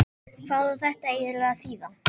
Hvað á þetta eiginlega að þýða?